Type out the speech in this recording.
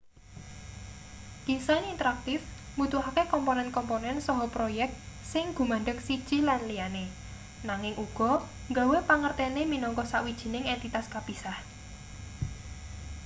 disain interaktif mbutuhake komponen komponen saha proyek sing gumandheng siji lan liyane nanging uga nggawe pangertene minangka sawijining entitas kapisah